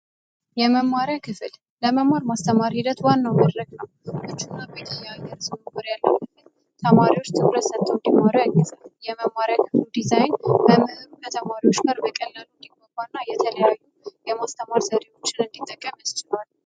የመማሪያ ክፍል ለመማር ማስተማር ሂደት ዋና መረጃ ተማሪዎች ትኩረት እንዲኖረው የመማር ዲዛይን በቀላሉና የተለያዩ የማስተማር ዘዴዎችን እንዲጠቀም ያስችላል።